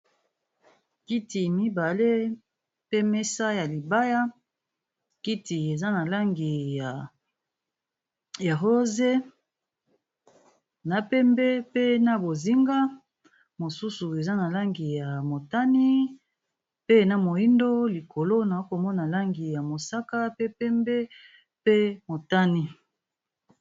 kiti mibale pe mesa ya libaya kiti eza na langi ya rose na pembe pe na bozinga mosusu eza na langi ya motani pe na moindo likolo na komona langi ya mosaka pe pembe pe motani